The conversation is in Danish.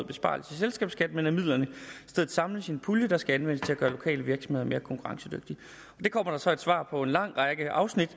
besparelse i selskabsskat men at midlerne i stedet samles i en pulje der skal anvendes til at gøre lokale virksomheder mere konkurrencedygtige det kommer der så et svar på med en lang række afsnit